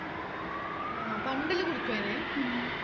ആഹ് പണ്ടേല്ലോം കുടിക്കുവെനും പി